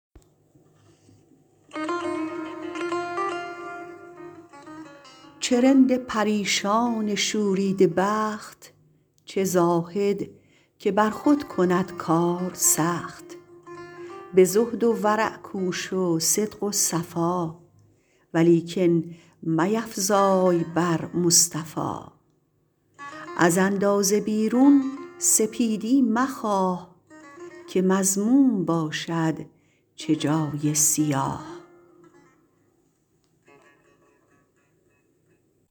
چه رند پریشان شوریده بخت چه زاهد که بر خود کند کار سخت به زهد و ورع کوش و صدق و صفا ولیکن میفزای بر مصطفی از اندازه بیرون سپیدی مخواه که مذموم باشد چه جای سیاه